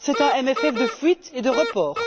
C'est un CFP de fuite et de report.